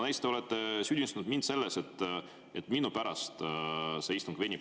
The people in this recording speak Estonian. Te olete süüdistanud mind selles, et minu pärast see istung venib.